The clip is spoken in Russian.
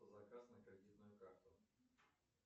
заказ на кредитную карту